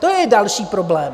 To je další problém.